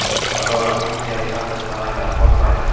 Adolatni yetkazishdan to‘xtamanglar, qo‘rqmanglar.